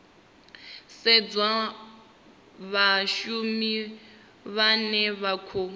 sedzwa vhashumi vhane vha khou